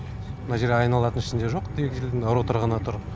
мына жер айналатын ішінде жоқ двигательдің роторы ғана тұр